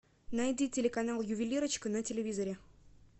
найди телеканал ювелирочка на телевизоре